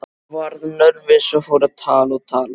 Varð nervus og fór að tala og tala.